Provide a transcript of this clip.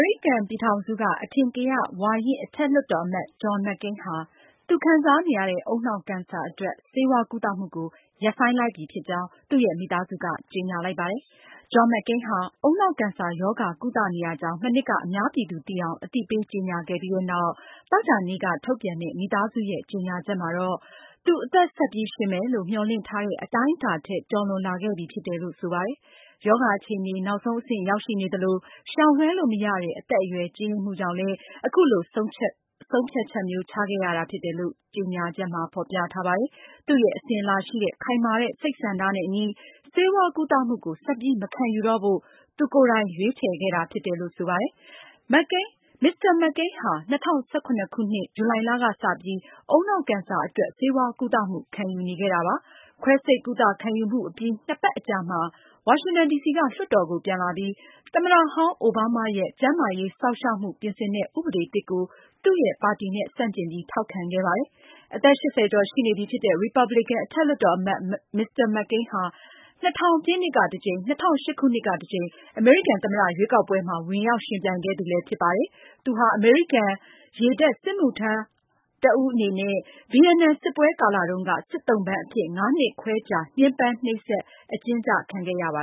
ရိကန်ပြည်ထောင်စုက အထင်ကရ ဝါရင့် အထက်လွှတ်တော်အမတ် John McCain ဟာ သူခံစားနေရတဲ့ ဦးနှောက်ကင်ဆာအတွက် ဆေးဝါးကုသမှုကို ရပ်ဆိုင်းလိုက်ပြီးဖြစ်ကြောင်း သူ့ရဲ့ မိသားစုက ကြေညာလိုက်ပါတယ်။ John McCain ဟာ ဦးနှောက် ကင်ဆာရောဂါကုသနေရကြောင်း မနှစ်က အများပြည်သူ သိအောင် အသိပေး ကြေညာခဲ့ပြီးနောက် သောကြာနေ့က ထုတ်ပြန်တဲ့ မိသားစုရဲ့ ကြေညာချက်မှာ-သူ အသက် ဆက်ပြီး ရှင်မယ်လို့ မျှော်လင့်ထားတဲ့ အတိုင်းအတာထက် ကျော်လွန်လာခဲ့ပြီ ဖြစ်တယ်လို့ ဆိုပါတယ်။ ရောဂါ အခြေအနေ နောက်ဆုံးအဆင့်ရောက်ရှိနေသလို ရှောင်လွဲှလို့မရတဲ့ကြီးရင့်လာပြီဖြစ်တဲ့ အသက်အရွယ်ကြောင့် အခုလို ဆုံးဖြတ်ချက်မျိုး ပြုလုပ်ရတာဖြစ်တယ်လို့ ကြေညာချက်မှာ ဖေါ်ပြ ထားပါတယ်။ သူရဲ့ အစဉ်အလာရှိတဲ့ ခိုင်မာတဲ့ စိတ်ဆန္ဒနဲ့အညီ ဆေးဝါးကုသမှုကို ဆက်ပြီး မခံယူတော့ဖို့ သူကိုယ်တိုင် ရွေးချယ်ခဲ့တာဖြစ်တယ်လို့ ဆိုပါတယ်။ Mr. McCain ဟာ ၂၀၁၇ ခုနှစ် ဇူလိုင်ကစပြီး ဦးနှောက်ကင်ဆာအတွက် ဆေးဝါးကုသမှု ခံယူနေခဲ့ တာပါ။ ခွဲစိတ်ကုသမှုခံယူအပြီး နှစ်ပတ်အကြာမှာ ဝါရှင်တန်ဒီစီက လွှတ်တော်ကို ပြန်လာပြီး သမ္မတဟောင်း အိုဘားမားရဲ့ ကျန်းမာရေးစောင့်ရှောက်မှုပြင်ဆင်တဲ့ ဥပဒေသစ်ကို သူရဲ့ပါတီနဲ့ ဆန့်ကျင်ပြီး ထောက်ခံခဲ့ပါတယ်။ အသက် (၈၀)ကျော် ရှိနေပြီ ဖြစ်တဲ့ ရီပါပလင်ကန် အထက်လွှတ်တော်အမတ် Mr. McCain ဟာ ၂၀၀၀ ပြည့်နှစ်က တကြိမ်၊ ၂၀၀၈ ခုနှစ်ကတကြိမ် အမေရိကန်သမ္မတရွေးကောက်ပွဲမှာ ဝင်ရောက် ယှဉ်ပြိုင်ခဲ့သူလည်းဖြစ်ပါတယ်။ သူဟာ အမေရိကန်ရေတပ် စစ်မှုထမ်းတဦးအနေနဲ့ ဗီယက်နမ်စစ်ပွဲကာလတုန်းက စစ်သုံ့ပန်းအဖြစ် ၅ နှစ်ခွဲကြာ ညှင်းပမ်း နှိပ်စက် အကျဉ်းကျခံခဲ့ရပါ